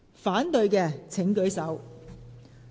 反對的請舉手。